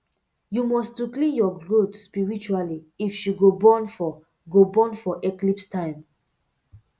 you must to clean your goat spiritually if she go born for go born for eclipse time